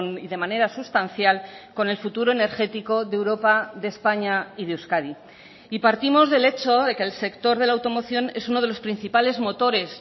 y de manera sustancial con el futuro energético de europa de españa y de euskadi y partimos del hecho de que el sector de la automoción es uno de los principales motores